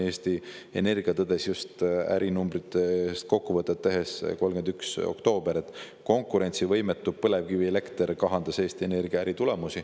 Eesti Energia tõdes just ärinumbritest kokkuvõtet tehes 31. oktoobril, et konkurentsivõimetu põlevkivielekter kahandas Eesti Energia äritulemusi.